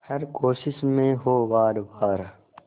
हर कोशिश में हो वार वार